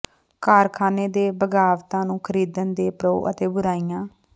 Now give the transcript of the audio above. ਕਾਰਖਾਨੇ ਦੇ ਬਗ਼ਾਵਤਾਂ ਨੂੰ ਖਰੀਦਣ ਦੇ ਪ੍ਰੋ ਅਤੇ ਬੁਰਾਈਆਂ